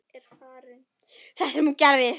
Það sem hún gerði